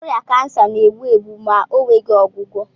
Ọrịa kansa na-egbu egbu ma ọ nweghị ọgwụgwọ